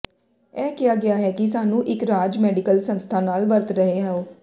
ਇਹ ਕਿਹਾ ਗਿਆ ਹੈ ਕਿ ਸਾਨੂੰ ਇੱਕ ਰਾਜ ਮੈਡੀਕਲ ਸੰਸਥਾ ਨਾਲ ਵਰਤ ਰਹੇ ਹੋ